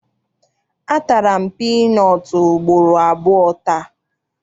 A tara m piinọọtụ ugboro abụọ taa.